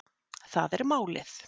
Það er málið